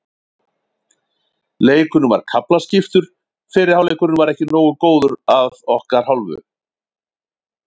Leikurinn var kaflaskiptur, fyrri hálfleikurinn var ekki nógu góður að okkar hálfu.